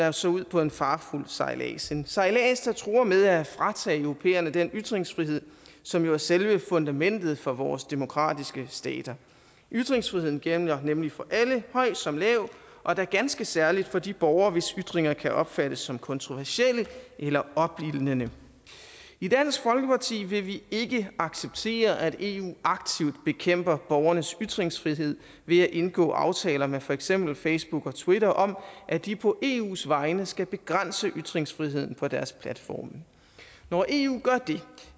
altså ud på en farefuld sejlads en sejlads der truer med at fratage europæerne den ytringsfrihed som jo er selve fundamentet for vores demokratiske stater ytringsfriheden gælder nemlig for alle høj som lav og da ganske særligt for de borgere hvis ytringer kan opfattes som kontroversielle eller opildnende i dansk folkeparti vil vi ikke acceptere at eu aktivt bekæmper borgernes ytringsfrihed ved at indgå aftaler med for eksempel facebook og twitter om at de på eus vegne skal begrænse ytringsfriheden på deres platforme når eu gør det